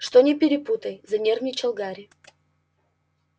что не перепутай занервничал гарри